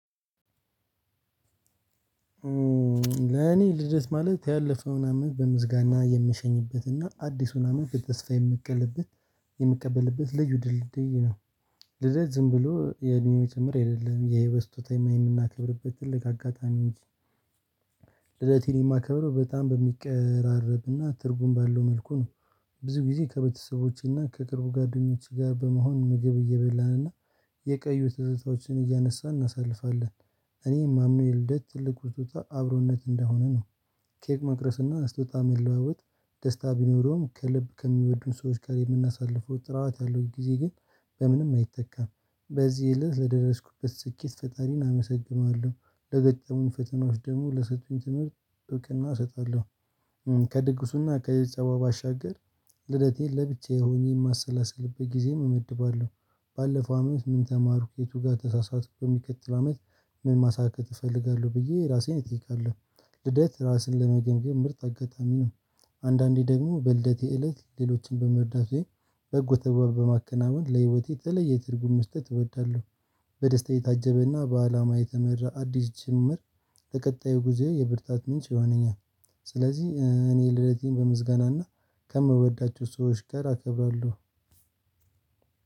ለኔ ልደት ማለት ያለፈውን አመት በምስጋና የምሸኝበትና አዲሱን አመት በተስፋ የምቀበ የምቀበልበት ልዩ ድልድይ ነው። ልደት ዝም ብሎ የእድሜ መጨመር አደለም የህይወት ስጦታ የምናከብርበት ትልቅ አጋጣሚ እንጂ። ልደቴን የማከብረው በጣም በሚቀራረብና ትርጉም ባለው መልኩ ነው። ብዙ ጊዜ ከቤተሰቦቼና ከቅርቡ ጓደኞች ጋ በመሆን ምግብ እየበላን እና የቀዩ ትዝታዎችን እያነሳን እናሳልፋለን። እኔ የማምነው የልደት ትልቁ ስጦታ አብሮነት እንደሆነ ነው። ኬክ መቅረስና ስጦታ መለዋወጥ ደስታ ቢኖረውም ከልብ ከሚወዱን ሰዎች ጋር የምናሳልፈው ጥርዋት ያለው ጊዜ ግን በምንም አይተካም። በዚህ እለት ለደረስኩበት ስኬት ፈጣሪን አመሰግነዋለው። ለገጠሙኝ ፈተናዎች ደግሞ ለሰጡኝ ትምህርት ብቅና እሰጣለሁ። ከድግሱና ከየት ጸባ ባሻገር። ልደቴን ለብቻዬ ሆኜ የማሰላስልበት ጊዜ እመድባለሁ። ባለፈው አመት ምን ተማሩክ የቱ ጋር ተሳሳቱ በሚከትል አመት ምን ማሳካት እፈልጋለሁ ብዬ ራሴን እጠይቃለሁ። ልደት ራስን ለመገንገም ምርጥ አጋጣሚ ነው። አንዳንዴ ደግሞ በልደቴ እለት ሌሎችን በመርዳት። በጎ ተግባር በማከናወን ለህይወቴ የተለየ ትርጉም መስጠት እወዳለሁ። በደስታ የታጀበና በአላማ የተመራ አዲስ ጅምር ለቀጣዩ ጊዜ የብርታት ምንጭ ይሆነኛል። ስለዚህ እኔ ልደቴን በምስጋናና ከምወዳቸው ሰዎች ጋር አከብራለሁ።